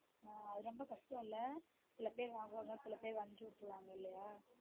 ஆஹ் அது ரொம்ப கஷ்டம் இல்ல சில பேர் வாங்குவாங்க சில பேர் வஞ்சி விட்ருவாங்க இல்லயா